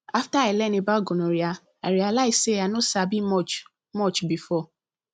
after i learn about gonorrhea i realize say i no sabi much much before